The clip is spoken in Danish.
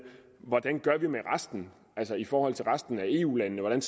resten altså i forhold til resten af eu landene hvordan